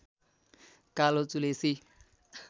कालो चुलेसी